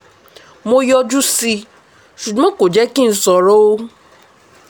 mo yọjú sí i ṣùgbọ́n kò jẹ́ kí n sọ̀rọ̀ o